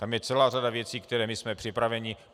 Tam je celá řada věcí, na které jsme připraveni.